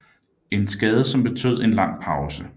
En skade som betød en lang pause